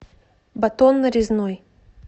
батон нарезной